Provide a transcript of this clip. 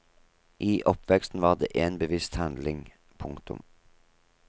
I oppveksten var det en bevisst handling. punktum